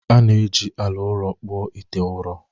A na-eji ala ụrọ kpụọ ite ụrọ